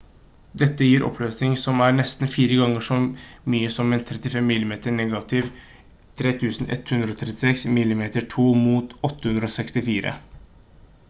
dette gir oppløsning som er nesten fire ganger så mye som en 35 mm negativ 3136 mm2 mot 864